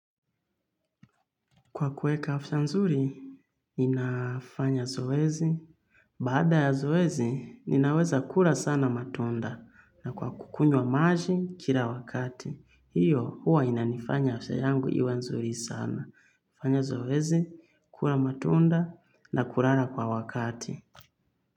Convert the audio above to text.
Kwa kueka afya nzuri ninafanya zoezi. Bada ya zoezi, ninaweza kura sana matunda na kwa kukunywa maji kila wakati. Hiyo huwa inanifanya afya yangu iwe nzuri sana. Fanya zoezi, kura matunda na kurara kwa wakati.